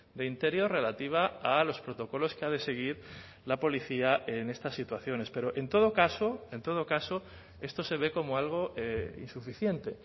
de interior relativa a los protocolos que ha de seguir la policía en estas situaciones pero en todo caso en todo caso esto se ve como algo insuficiente